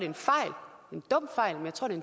en fejl en dum